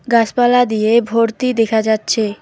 গাছপালা দিয়ে ভর্তি দেখা যাচ্ছে।